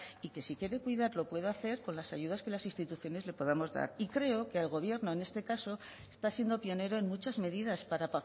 y que si quiere cuidar lo pueda hacer con las ayudas que las instituciones le podamos dar y creo que el gobierno en este caso está siendo pionero en muchas medidas para